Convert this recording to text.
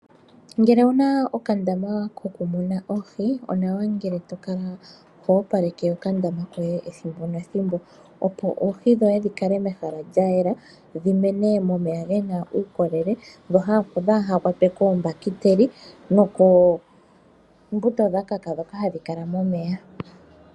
Ngele owuna okandama ko kumuna oohi, onawa ngele to kala ho wa paleke okandama, ethimbo nethimbo opo oohi dhoye dhi kale mehala lya yela, dhi mene mo meya gena uukolele, dho kaa dhikwatwe koo mbahiteli noo ko mbuto dha kaka ndhoka hadhi kala mo meya.